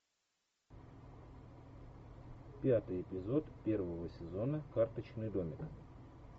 пятый эпизод первого сезона карточный домик